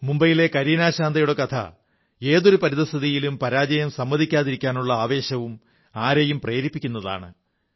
മുംബൈയിലെ കരീനാ ശാന്തയുടെ കഥയിലെ ഏതൊരു പരിതസ്ഥിതിയിലും പരാജയം സമ്മതിക്കാതിരിക്കാനുള്ള ആവേശം ആരെയും പ്രേരിപ്പിക്കുന്നതാണ്